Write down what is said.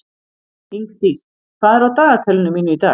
Ingdís, hvað er á dagatalinu mínu í dag?